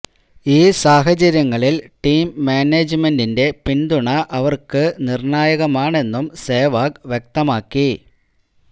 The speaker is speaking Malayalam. ഈ സാഹചര്യങ്ങളില് ടീം മാനേജ്മെന്റിന്റെ പിന്തുണ അവര്ക്ക് നിര്ണായകമാണെന്നും സെവാഗ് വ്യക്തമാക്കി